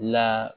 La